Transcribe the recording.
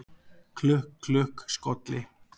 Klukk, klukk, skolli